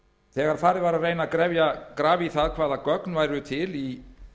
þegar farið var að reyna að grafa í það hvaða gögn væru til í